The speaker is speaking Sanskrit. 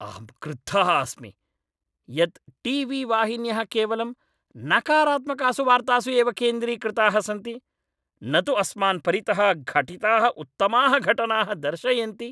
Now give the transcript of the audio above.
अहं क्रुद्धः अस्मि यत् टी वी वाहिन्यः केवलं नकारात्मकासु वार्तासु एव केन्द्रीकृताः सन्ति न तु अस्मान् परितः घटिताः उत्तमाः घटनाः दर्शयन्ति।